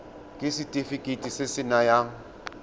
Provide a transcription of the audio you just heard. ke setefikeiti se se nayang